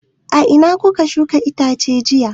A ina kuka shuka itacen jiya?